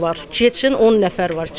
Getsin 10 nəfər var içəridə.